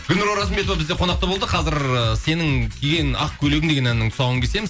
гүлнұр оразымбетова бізде қонақта болды қазір ы сенің киген ақ көйлегің деген әннің тұсауын кесеміз